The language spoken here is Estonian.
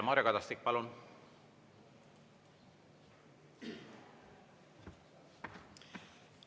Mario Kadastik, palun!